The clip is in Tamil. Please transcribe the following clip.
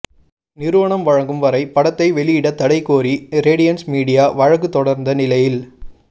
நிறுவனம் வழங்கும் வரை படத்தை வெளியிட தடை கோரி ரேடியன்ஸ் மீடியா வழக்கு தொடர்ந்த நிலையில்